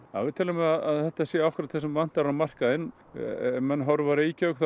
við teljum að þetta sé akkúrat það sem vantar á markaðinn ef menn horfa á Reykjavík þá